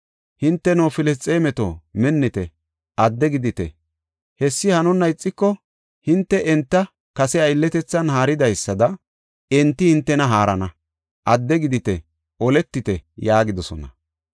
Hinteno Filisxeemeto, minnite! Adde gidite! Hessi hanonna ixiko, hinte enta kase aylletethan haaridaysada enti hintena haarana. Adde gidite; oletite” yaagidosona.